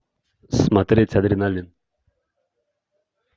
смотреть адреналин